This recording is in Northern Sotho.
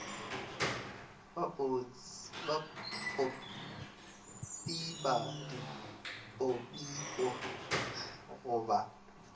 ba botpipa dipotpipo go ba